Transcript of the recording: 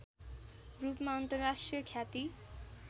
रूपमा अन्तर्राष्ट्रिय ख्याति